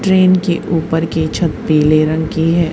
Train के ऊपर के छत पीले रंग की है।